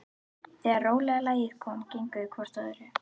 Þegar rólega lagið kom gengu þau hvort að öðru.